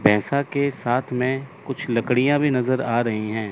पैसा के साथ में कुछ लकड़ियाँ भी नजर आ रही हैं।